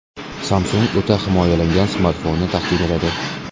Samsung o‘ta himoyalangan smartfonni taqdim etadi.